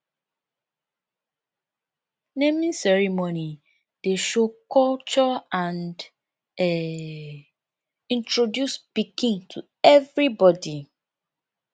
naming ceremony dey show culture and um introduce pikin to everybody